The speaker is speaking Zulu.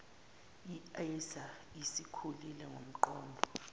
aisa isikhulile ngokomnqondo